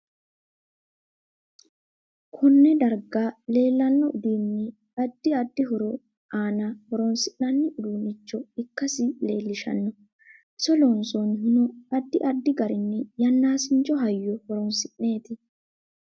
Konne darga leelanno uduuni addi addi horo aanna horoonsinani uduunicho ikkasi leelishanno iso loonsoonihuno addi addi garinni yannasincho hayyo horoonsineeti